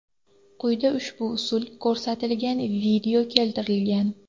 Quyida ushbu usul ko‘rsatilgan video keltirilgan.